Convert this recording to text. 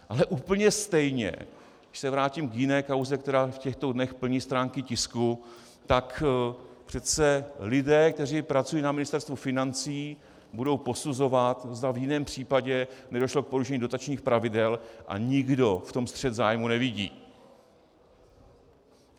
Ale úplně stejně, když se vrátím k jiné kauze, která v těchto dnech plní stránky tisku, tak přece lidé, kteří pracují na Ministerstvu financí, budou posuzovat, zda v jiném případě nedošlo k porušení dotačních pravidel, a nikdo v tom střet zájmů nevidí.